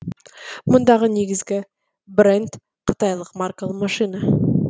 мұндағы негізгі бренд қытайлық маркалы машина